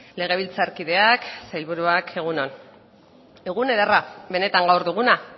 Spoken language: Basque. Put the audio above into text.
legebiltzarkideak sailburuak egun on egun ederra benetan gaur duguna